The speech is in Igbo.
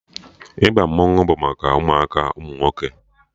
Ịba mmanwụ bụ maka ụmụaka ụmụ nwoke